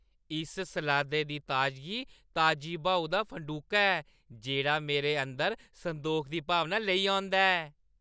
इस सलादै दी ताजगी ताजी ब्हाऊ दा फंडूका ऐ जेह्ड़ा मेरे अंदर संदोख दी भावना लेई औंदा ऐ।